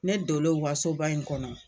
Ne dolen u ka soba in kɔnɔ